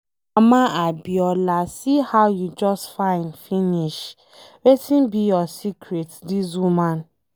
Mama Abiola see how you just fine finish, wetin be your secret dis woman?